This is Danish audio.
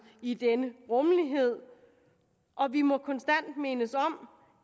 i denne rummelighed og vi må konstant mindes om